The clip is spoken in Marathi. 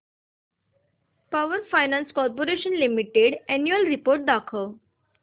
power finance corporation limited annual report दाखव